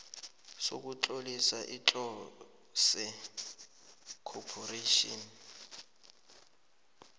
sokutlolisa iclose corporation